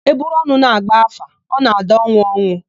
E buru ọnụ na-agba áfá, ọ na-ada ọnwụ ọnwụ.